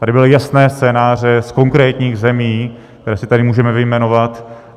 Tady byly jasné scénáře z konkrétních zemí, které si tady můžeme vyjmenovat.